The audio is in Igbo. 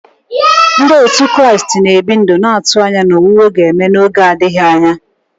Ndị òtù Kraịst na-ebi ndụ na-atụ anya na owuwe ga-eme n'oge adịghị anya.